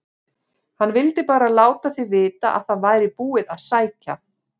HANN VILDI BARA LÁTA ÞIG VITA AÐ ÞAÐ VÆRI BÚIÐ AÐ SÆKJA